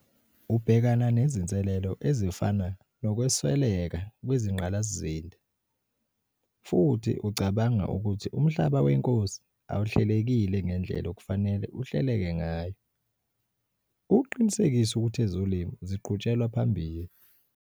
Ubhekana nezinselelo ezifana nokwesweleka kwezingqalasizinda, futhi ucabanga ukuthi umhlaba wenkosi awuhlelekile ngendlela okufanele uhleleke ngayo - ukuqinisekisa ukuthi ezolimo ziqhutshelwa phambili.